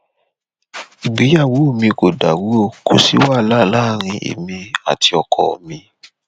ìgbéyàwó mi kò dàrú o kò sí wàhálà láàrin èmi àti ọkọ mi